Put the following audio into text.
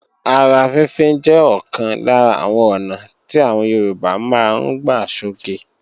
Ara fínfín jẹ́ ọ̀kan lára àwọn ọ̀nà tí àwọn Yorùbá máa ń gbà sọge